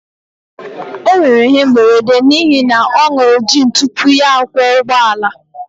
o nwere ihe mberede n'ihi na ọ ṅụru gin tupu ya akwọ ụgbọala